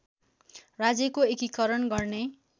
राज्यको एकीकरण गर्ने